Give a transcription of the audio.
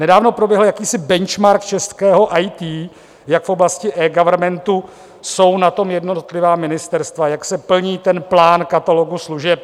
Nedávno proběhl jakýsi benchmark českého IT, jak v oblasti eGovernmentu jsou na tom jednotlivá ministerstva, jak se plní ten plán katalogu služeb.